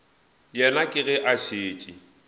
yena ke ge a šetše